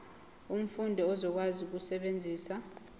umfundi uzokwazi ukusebenzisa